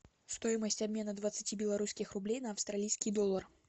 стоимость обмена двадцати белорусских рублей на австралийский доллар